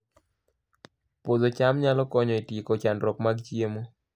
Puodho cham nyalo konyo e tieko chandruok mag chiemo